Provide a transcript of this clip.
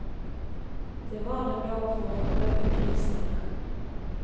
Det var en dag for å prøve grisene.